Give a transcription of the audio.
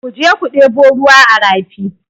Ku je ku ɗebo ruwa a rafi!